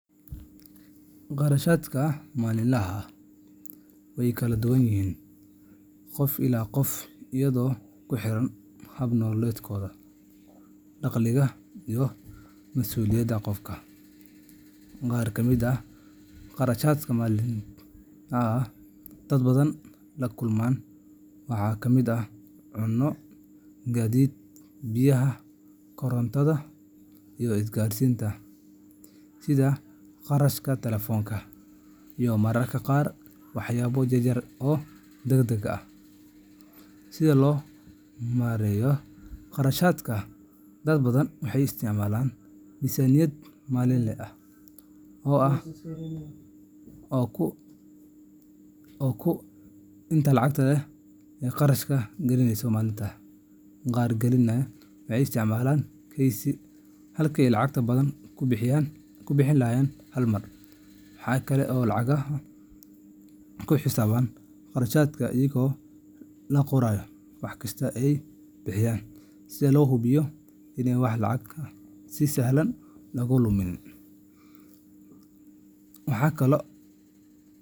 Kharashaadka maalinlaha ah way kala duwan yihiin qof ilaa qof iyadoo ku xiran hab nololeedka, dakhliga, iyo mas’uuliyadaha qofka. Qaar ka mid ah kharashaadka maalinlaha ah ee dad badan la kulmaan waxaa ka mid ah cunno, gaadiid, biyaha, korontada, isgaarsiinta sida kharashka taleefanka, iyo mararka qaar waxyaabo yar-yar oo degdeg ah. Si loo maareeyo kharashaadkaas, dad badan waxay isticmaalaan miisaaniyad maalinle ah, oo ay ku xadidaan inta lacag ah ee ay kharash gareynayaan maalintii. Qaar kalena waxay isticmaalaan kaydsi, halkii ay lacag badan ku bixin lahaayeen hal mar. Waxaa kale oo laga yaabaa in lagu xisaabtamo kharashaadka iyadoo la qorayo wax kasta oo la bixiyo, si loo hubiyo in aan wax lacag ah si sahlan looga lumin waxa kalo.